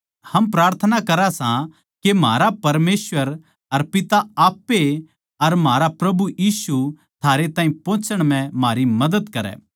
हम प्रार्थना करां सां के म्हारा परमेसवर अर पिता आप ए अर म्हारा प्रभु यीशु थारै ताहीं पोहचने म्ह म्हारी मदद करै